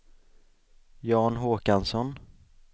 Jan Håkansson